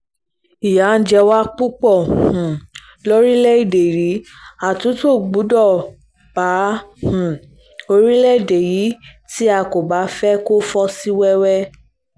ìyà ń jẹ wá púpọ̀ um lórílẹ̀‐èdè rìí àtúntò gbọ́dọ̀ bá um orílẹ̀‐èdè yìí tí a kò bá fẹ́ẹ́ fọ́ sí wẹ́wẹ́